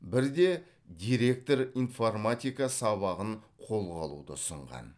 бірде директор информатика сабағын қолға алуды ұсынған